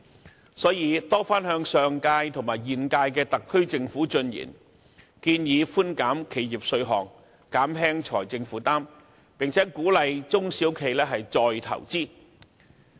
就此，經民聯曾多番向上屆和現屆特區政府進言，建議寬減企業稅項，減輕其財政負擔，並鼓勵中小企再投資。